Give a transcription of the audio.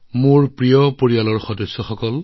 মোৰ মৰমৰ পৰিয়ালৰ সদস্যসকল